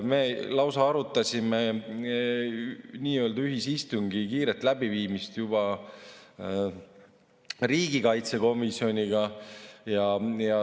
Me lausa arutasime nii-öelda ühisistungi kiirelt läbiviimist juba riigikaitsekomisjoniga.